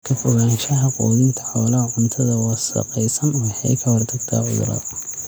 Ka fogaanshaha quudinta xoolaha cuntada wasakhaysan waxay ka hortagtaa cudurrada.